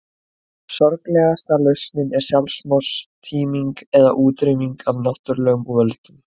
Sorglegasta lausnin er sjálfstortíming eða útrýming af náttúrulegum völdum.